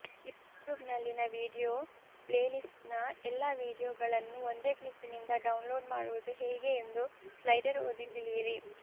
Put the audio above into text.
ಯೂಟ್ಯೂಬ್ನಲ್ಲಿನ video ಪ್ಲೇಲೀಸ್ಟ್ನ ಎಲ್ಲಾ ವೀಡಿಯೋಗಳನ್ನು ಒಂದೇ ಕ್ಲಿಕ್ನಿಂದ ಡೌನ್ಲೋಡ್ ಮಾಡುವುದು ಹೇಗೆ ಎಂದು ಸ್ಲೈಡರ್ ಓದಿ ತಿಳಿಯಿರಿ